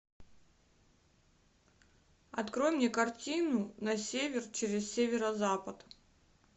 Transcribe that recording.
открой мне картину на север через северо запад